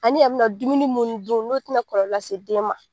Ani i yɛ bina dumuni mun dun n'o tina kɔlɔlɔ lase den ma.